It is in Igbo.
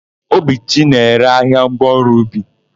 Obichi na-ere ahịa ngwaọrụ ubi.